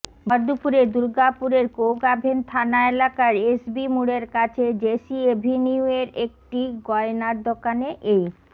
ভরদুপুরে দুর্গাপুরের কোকআভেন থানা এলাকার এসবি মোড়ের কাছে জেসি অ্যাভিনিউয়ের একটি গয়নার দোকানে এই